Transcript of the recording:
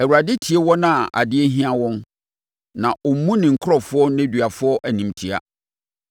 Awurade tie wɔn a adeɛ ahia wɔn, na ɔmmu ne nkurɔfoɔ nneduafoɔ animtiaa.